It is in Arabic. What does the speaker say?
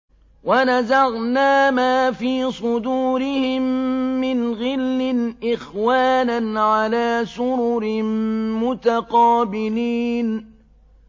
وَنَزَعْنَا مَا فِي صُدُورِهِم مِّنْ غِلٍّ إِخْوَانًا عَلَىٰ سُرُرٍ مُّتَقَابِلِينَ